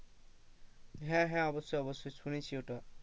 হ্যাঁ হ্যাঁ অবশ্যই অবশ্যই শুনেছি ওটা।